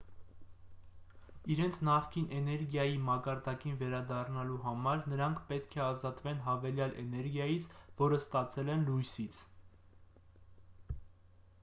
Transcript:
իրենց նախկին էներգիայի մակարդակին վերադառնալու համար նրանք պետք է ազատվեն հավելյալ էներգիայից որը ստացել են լույսից